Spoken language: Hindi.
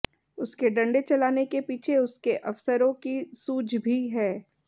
उसके डंडे चलाने के पीछे उसके अफसरों की सूझ भी है